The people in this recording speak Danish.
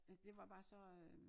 Ja det var bare så øh